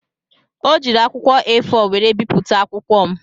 O jiiri akwụkwọ A4 were bipụta akwụkwọ m.